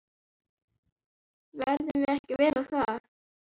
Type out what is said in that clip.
Verðum við ekki að vera það?